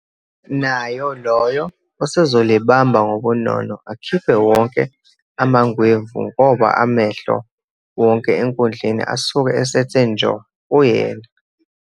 Nayo loyo usezolibamba ngobunono akhiphe wonke amangwevu, ngoba amehlo wonke enkundleni asuke esethe njo kuyena.